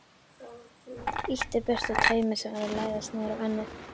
Ýtti burtu taumi sem var að læðast niður á ennið.